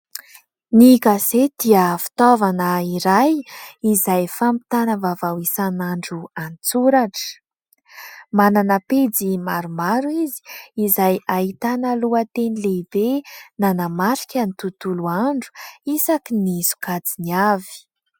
Ny gazety dia fitaovana iray izay fampitana vaovao isanandro an-tsoratra. Manana pejy maromaro izy izay ahitana lohateny lehibe nanamrika ny tontolo andro isaky ny sokajiny avy.